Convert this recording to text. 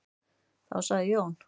Þá sagði Jón: